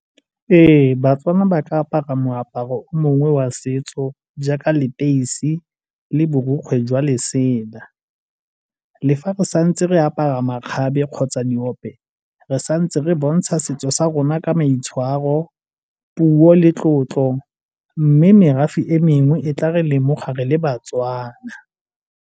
Ee, baTswana ba ka apara moaparo o mongwe wa setso jaaka leteisi le borokgwe jwa lesela. Le fa re santse re apara makgabe kgotsa diope re santse re bontsha setso sa rona ka maitshwaro, puo le tlotlo mme merafe e mengwe e tla re lemoga re le baTswana.